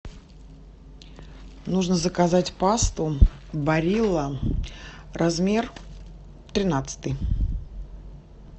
нужно заказать пасту барилла размер тринадцатый